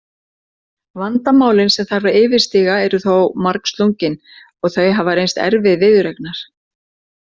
Vandamálin sem þarf að yfirstíga eru þó margslungin og þau hafa reynst erfið viðureignar.